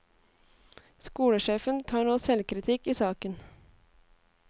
Skolesjefen tar nå selvkritikk i saken.